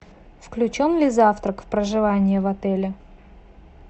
включен ли завтрак в проживание в отеле